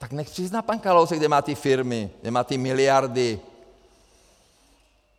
Tak nechť přizná pan Kalousek, kde má ty firmy, kde má ty miliardy.